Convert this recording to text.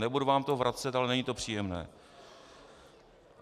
Nebudu vám to vracet, ale není to příjemné.